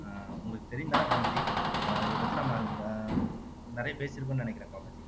ஆஹ் உங்களுக்கு தெரியும்தானே கோமதி ஆஹ் இதைப்பத்தி நம்ம ஆஹ் நிறைய பேசியிருக்கும்னு நினைக்கிறேன் கோமதி